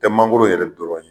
Tɛ mangoro yɛrɛ dɔrɔn ye